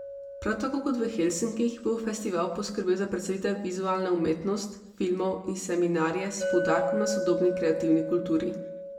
Prav tako kot v Helsinkih bo festival poskrbel za predstavitev vizualne umetnost, filmov in seminarje s poudarkom na sodobni kreativni kulturi.